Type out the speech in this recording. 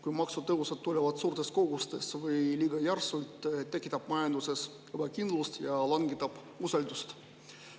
Kui maksutõusud tulevad suurtes kogustes või liiga järsult, tekitab see majanduses ebakindlust ja langetab usaldust.